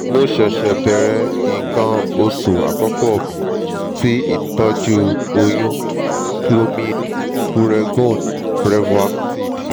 mo se se bẹrẹ ikan osu akoko mi ti itọju oyun - clomid puregon brevactid